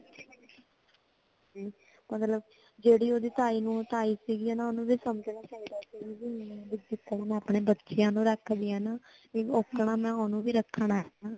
ਹੁਮ ਮਤਲਬ ਜੇੜੀ ਓਹਦੀ ਤਾਈ ਨੂੰ ਤਾਈ ਸਿਗਿਨਾ ਓਹਨੂੰ ਵੀ ਸੰਜਨਾ ਚਾਹੀਦਾ ਸੀ ਜੀਦਾ ਮੈਂ ਆਪਣੇ ਬੱਚਿਆਂ ਨੂੰ ਰੱਖਨੀ ਹੇਨਾ ਉਦਾ ਮੈਂ ਓਹਨੂੰ ਵੀ ਰੱਖਣਾ